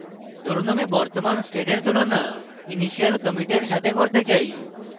ধরুন আমি বর্তমান স্টেটের তুলনা initial কমিটের সাথে করতে চাই